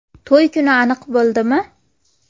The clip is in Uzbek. To‘y kuni aniq bo‘ldimi?